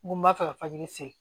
N ko n b'a fɛ ka